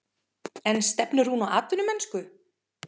En stefnir hún á atvinnumennsku?